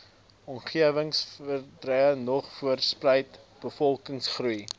omgewingsverandering voortspruit bevolkingsgroei